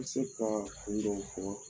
N bɛ se k'a kun dɔw fɔ